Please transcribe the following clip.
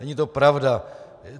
Není to pravda.